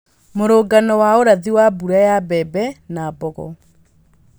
mũrũngano wa ũrathi wa mbura ya mbembe na mbogo